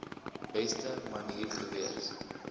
beste manier gewees